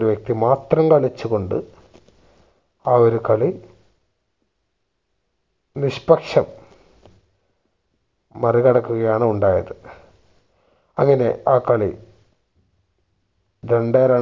ഒരു വ്യക്തി മാത്രം കളിച്ചു കൊണ്ട് ആ ഒരു കളി നിഷ്പക്ഷം മറികടക്കുകയാണ് ഉണ്ടായത് അങ്ങനെ ആ കളി രണ്ടേ ര